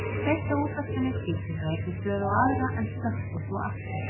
Hún kveikti á útvarpinu, skipti frá einni stöð á aðra en slökkti svo aftur.